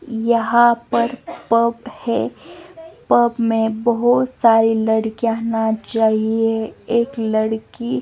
यहां पर पब है पब में बहुत सारी लड़कियां ना चाहिए एक लड़की--